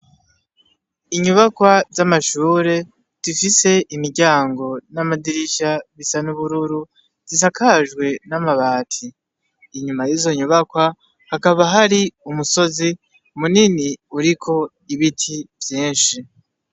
Inyubakwa z'amashure zifise imiryango n'amadirisha isa n'ubururu, zisakajwe n'amabati, inyuma yizo nyubakwa hakaba hari umusozi mure mure uriko ibiti vyinshi.